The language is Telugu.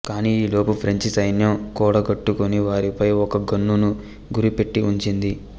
కానీ ఈలోపు ఫ్రెంచి సైన్యం కూడగట్టుకుని వారిపై ఒక గన్నును గురిపెట్టి ఉంచింది